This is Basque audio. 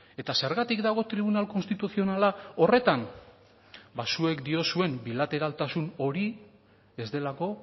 eta zergatik dago tribunal konstituzionala horretan ba zuek diozuen bilateraltasun hori ez delako